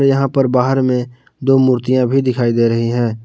यहां पर बाहर में दो मूर्तियां भी दिखाई दे रही है।